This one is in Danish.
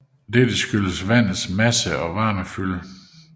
Dette skyldes vandets masse og varmefylde